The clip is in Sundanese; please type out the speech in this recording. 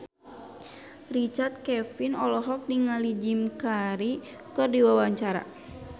Richard Kevin olohok ningali Jim Carey keur diwawancara